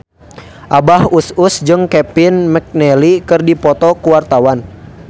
Abah Us Us jeung Kevin McNally keur dipoto ku wartawan